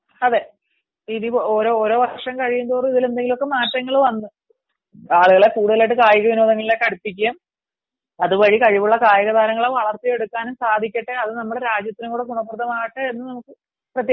അതെ ഓരോ വര്ഷം കഴിയുന്തോറും ഇതിൽ എന്തെങ്കിലും മാറ്റങ്ങൾ വന്നു ആളുകളെ കൂടുതലിയിട്ട് കായിക ങ്ങളിലേക്ക് അടുപ്പിക്കുക അതുവഴി കഴിവുള്ള കായിക താരങ്ങളെ വളർത്തിയേജ്ടുക്കാനും സാധിക്കട്ടെ അത് നമ്മളെ രാജ്യത്തിനും കൂടി ഫലപ്രദമാകട്ടെ എന്ന് നമുക്ക് പ്രത്യാശിക്കാം